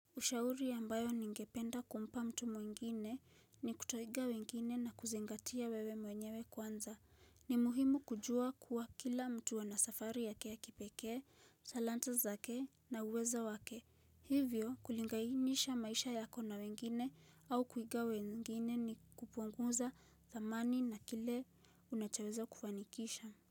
Ushauri ambayo ningependa kumpa mtu mwingine ni kutoiga wengine na kuzingatia wewe mwenyewe kwanza. Ni muhimu kujua kuwa kila mtu anasafari yake ya kipekee, salanta zake na uwezo wake. Hivyo kulingainisha maisha yako na wengine au kuiga wengine ni kupunguza dhamani na kile unachoweza kufanikisha.